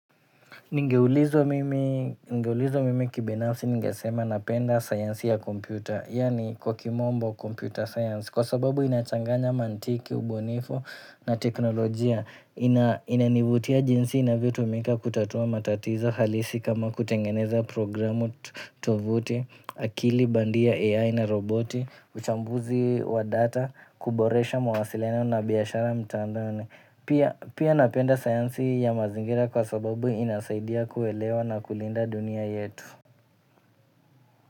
Ningeulizwa, mimi kibinafsi ningesema napenda sayansi ya kompyuta, yani kwa Kiingereza, computer science, kwa sababu inachanganya mantiki, ubunifu na teknolojia. Inanivutia jinsi inavyotumika kutatua matatizo halisi, kama kutengeneza programu-tuvuti, akili bandia (AI) na roboti, uchambuzi wa data, kuboresha mawasiliano na biashara mtandaoni. Pia napenda sayansi ya mazingira kwa sababu inasaidia kuelewa na kulinda dunia yetu.